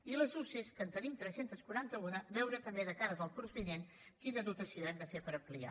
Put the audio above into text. i de les usee que en tenim tres cents i quaranta un veure també de cares al curs vinent quina dotació hem de fer per ampliar